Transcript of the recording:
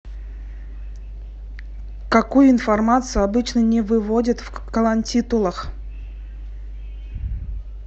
какую информацию обычно не выводят в колонтитулах